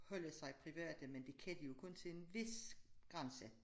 Holde sig private men det kan se jo kun til en vis grænse